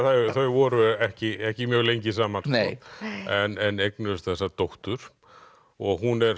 þau voru ekki ekki mjög lengi saman en eignuðust þessa dóttur og hún er